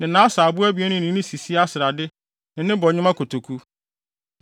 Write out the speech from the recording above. ne asaabo abien no ne sisia srade ne ne bɔnwoma kotoku,